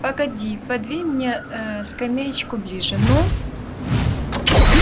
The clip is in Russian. погоди подвинь мне скамеечку ближе ну